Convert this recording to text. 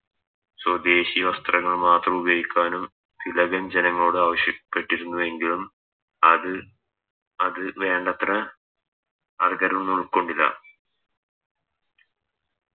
സ്വദേശീയ വസ്ത്രങ്ങൾ മാത്രം ഉപയോഗിക്കാനും തിലകൻ ജനങ്ങളോട് ആവശ്യപ്പെട്ടിരുന്നു എങ്കിലും അത് അത് വേണ്ടത്ര ആൾക്കാരൊന്നും ഉൾക്കൊണ്ടില്ല